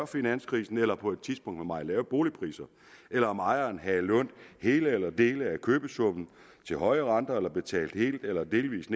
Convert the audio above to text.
finanskrisen eller på et tidspunkt med meget lave boligpriser eller om ejeren havde lånt hele eller dele af købesummen til høje renter eller havde betalt helt eller delvis